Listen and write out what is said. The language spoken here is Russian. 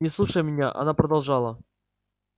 не слушая меня она продолжала